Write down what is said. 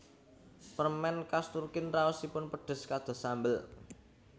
Permen khas Turkin raosipun pedes kados sambel